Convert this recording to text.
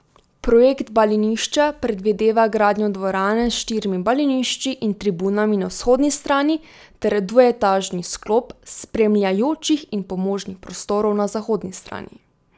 Projekt balinišča predvideva gradnjo dvorane s štirimi balinišči in tribunami na vzhodni strani ter dvoetažni sklop spremljajočih in pomožnih prostorov na zahodni strani.